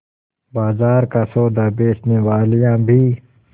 बाजार का सौदा बेचनेवालियॉँ भी